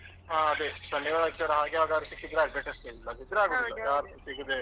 ಹಾ ಅದೇ ಶನಿವಾರ ಆದಿತ್ಯವಾರ ಆಗ ಯಾವಗಾದ್ರು ಸಿಕ್ಕಿದ್ರೆ ಆಗ್ಬೇಕು ಅಷ್ಟೇ ಇಲ್ಲದಿದ್ದರೆ ಆಗುದಿಲ್ಲ ಯಾರುಸ ಸಿಗೋದೇ ಇಲ್ಲ .